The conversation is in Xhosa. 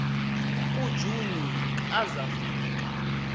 kujuni ka zafika